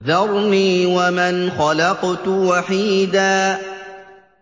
ذَرْنِي وَمَنْ خَلَقْتُ وَحِيدًا